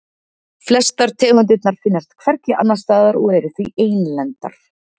Flestar tegundirnar finnast hvergi annars staðar og eru því einlendar.